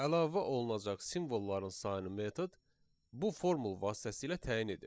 Əlavə olunacaq simvolların sayının metod bu formul vasitəsilə təyin edir.